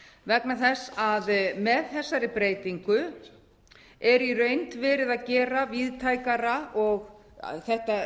vegna þess að með þessari breytingu er í reynd verið að gera þetta